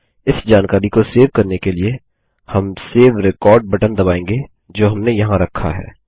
इस जानकारी को सेव करने के लिए हम सेव रेकॉर्ड बटन दबाएंगे जो हमने यहाँ रखा है